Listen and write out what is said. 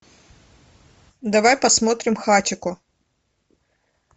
давай посмотрим хатико